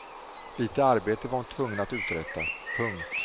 Lite arbete var hon tvungen att uträtta. punkt